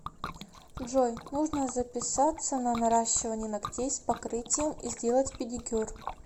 джой нужно записаться на наращивание ногтей с покрытием и сделать педикюр